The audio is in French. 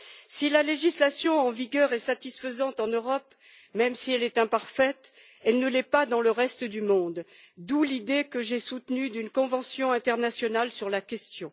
Si la législation en vigueur est satisfaisante en Europe, même si elle est imparfaite, elle ne l'est pas dans le reste du monde, d'où l'idée que j'ai soutenue d'une convention internationale sur la question.